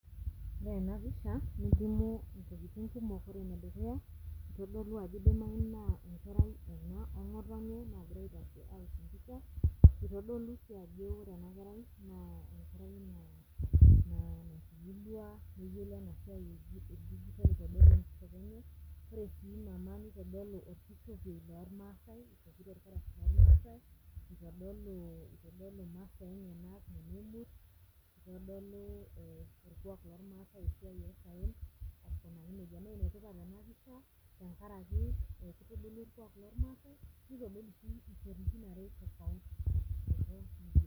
Ore ena pisha nelimu intokiting kumok ore enedukuya itodolu ajoo idimai naa enkerai ena ong'otonye nagira aitashe awosh empisha itodolu sii ajo ore ena kerai naa enkerai naa natubulua neyiolo ena siai e digital itodolu enkishopo enye ore sii mama nitodolu orkishopie lormaasae ishopito irkarash lormaasae itodolu itodolu imasaa enyenak nena emurt itodolu eh orkuak lormaasae esiai osaen aikunaki nejia naa enetipat ena pisha tenkaraki kitodolu orkuak lormaasae nitodolu sii isiankikin are tofauti.